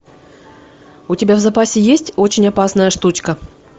у тебя в запасе есть очень опасная штучка